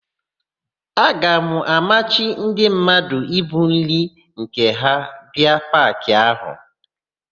A ga-amachi ndị mmadụ ibu nri nke ha abịa paakị áhụ̀.